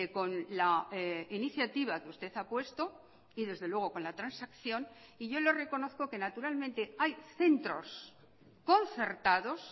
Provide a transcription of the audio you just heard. con la iniciativa que usted ha puesto y desde luego con la transacción y yo le reconozco que naturalmente hay centros concertados